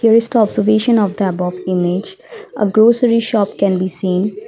There is the observation of the above image a grocery shop can be seen.